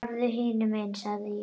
Farðu hinum megin sagði ég.